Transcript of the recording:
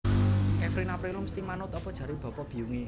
Kevin Aprilio mesti manut opo jare bapa biyung e